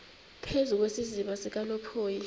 phezu kwesiziba sikanophoyi